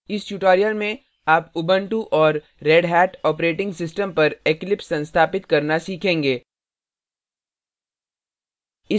इस tutorial में आप उबंटू और redhat operating systems पर eclipse संस्थापित करना सीखेंगे